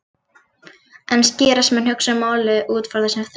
En skýrast mun að hugsa um málið út frá þessum þremur flokkum.